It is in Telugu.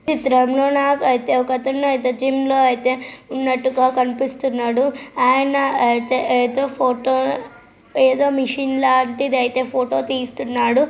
ఒక తనైతే జిమ్ లో అయితే ఉన్నట్టుగా కనిపిస్తున్నాడు. ఆయన అయితే ఏదో ఫోటో ఏదో మిషన్ లాంటిదైతే ఫోటో తీస్తున్నాడు.